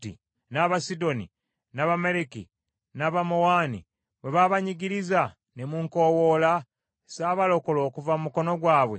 n’Abasidoni, n’Abamaleki, n’Abamawoni, bwe baabanyigiriza ne munkowoola, sabalokola okuva mu mukono gwabwe?